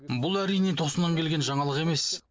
бұл әрине тосыннан келген жаңалық емес